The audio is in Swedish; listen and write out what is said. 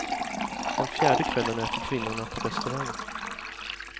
Den fjärde kvällen äter kvinnorna på restaurang.